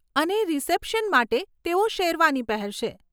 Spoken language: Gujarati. અને રીસેપ્શન માટે, તેઓ શેરવાની પહેરશે.